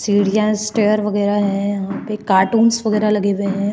सीढिया स्टेर वगेरा हैं यहाँ पे कार्टून्स वगेरा लगे हुए हैं।